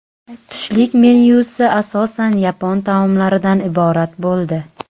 Tushlik menyusi asosan yapon taomlaridan iborat bo‘ldi.